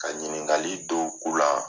Ka ɲininkali dɔw ku la